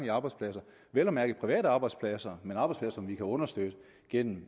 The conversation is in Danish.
arbejdspladser vel at mærke private arbejdspladser men arbejdspladser som vi kan understøtte gennem